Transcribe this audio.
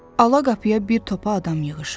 Ala qapıya bir topa adam yığışıb.